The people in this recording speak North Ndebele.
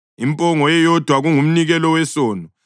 impongo eyodwa kungumnikelo wesono;